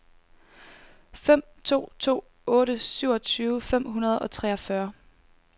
fem to to otte syvogtyve fem hundrede og treogfyrre